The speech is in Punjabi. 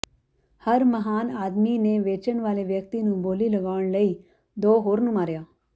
ਹਰ ਮਹਾਨ ਆਦਮੀ ਨੇ ਵੇਚਣ ਵਾਲੇ ਵਿਅਕਤੀ ਨੂੰ ਬੋਲੀ ਲਗਾਉਣ ਲਈ ਦੋ ਹੋਰ ਨੂੰ ਮਾਰਿਆ